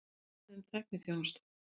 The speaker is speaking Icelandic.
Samið um tækniþjónustu